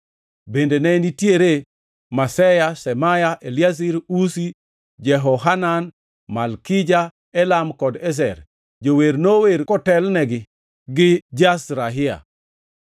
Bende ne nitiere Maseya, Shemaya, Eliazar, Uzi, Jehohanan, Malkija, Elam kod Ezer. Jower nower kotelnegi gi Jezrahia.